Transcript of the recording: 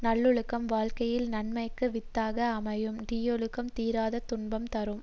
நல்லொழுக்கம் வாழ்க்கையில் நன்மைக்கு வித்தாக அமையும் தீயொழுக்கம் தீராத துன்பம் தரும்